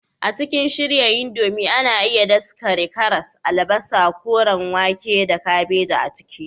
A cikin shirya indomie, ana iya daskare karas, albasa, koren wake, da kabeji a ciki.